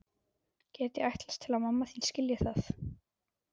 Get ég ætlast til að mamma þín skilji það?